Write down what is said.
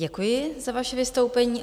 Děkuji za vaše vystoupení.